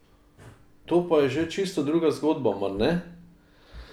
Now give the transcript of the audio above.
To pa je že čisto druga zgodba, mar ne?